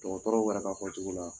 dɔgɔtɔrɔw yɛrɛ ka fɔ cogo la